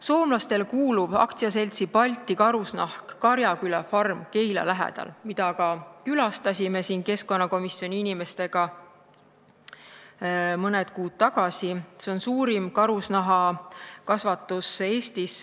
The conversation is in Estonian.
Soomlastele kuuluv AS-i Balti Karusnahk Karjaküla farm Keila lähedal, kus me keskkonnakomisjoni inimestega mõni kuu tagasi käisime, on suurim karusloomakasvatus Eestis.